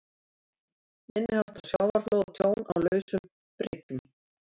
Minniháttar sjávarflóð og tjón á lausum bryggjum.